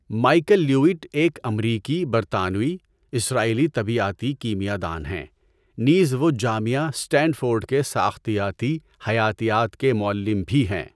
Michael Levitt ایک امریکی، برطانوئی، اسرائیلی طبیعیاتی کیمیاء دان ہیں، نیز وہ جامعہ سٹینڈفورڈ کے ساختیاتی حیاتیات کے معلم بھی ہیں۔